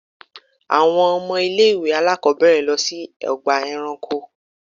Àwọn ọmọ ilé ìwé àlákóbèrè lọ sí ọgbà eranko.